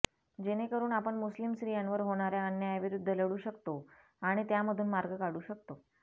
जेणेकरुन आपण मुस्लिम स्त्रियांवर होणाऱया अन्यायाविरुद्ध लढू शकतो आणि त्यामधून मार्ग काढू शकतो